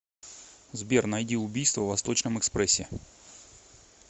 сбер найди убийство в восточном экспрессе